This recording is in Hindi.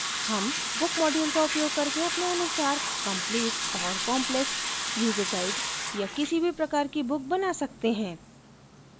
हम book module का उपयोग करके अपने अनुसार complete और complex यूजर guides या किसी भी प्रकार की books बना सकते हैं